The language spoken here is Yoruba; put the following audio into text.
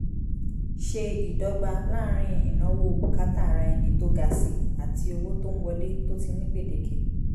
ṣe ìdọ́gba láàrín ìnáwó bùkátà ara ẹni tó ga si àti owó tó ń wọle tó ti ní gbèdéke